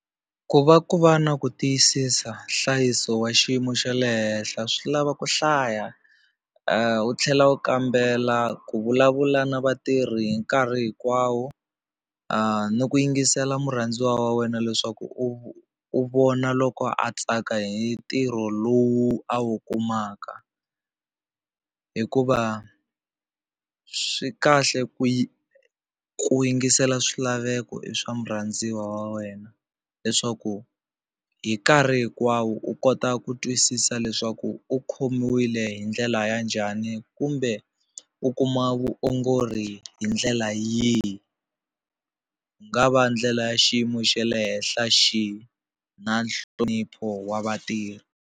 Ku va ku va na ku tiyisisa nhlayiso wa xiyimo xa le henhla swi lava ku hlaya u tlhela u kambela ku vulavula na vatirhi hi nkarhi hinkwawo ni ku yingisela murhandziwa wa wena leswaku u u vona loko a tsaka hi ntirho lowu a wu kumaka hikuva swi kahle ku ku yingisela swilaveko i swa murhandziwa wa wena leswaku hi nkarhi hinkwawo u kota ku twisisa leswaku u khomiwile hi ndlela ya njhani kumbe u kuma vuongori hi ndlela yihi ku nga va ndlela ya xiyimo xa le henhla xihi na nhlonipho wa vatirhi.